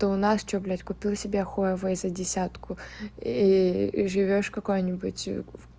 то у нас что блядь купила себе хуавей за десятку и живёшь какое-нибудь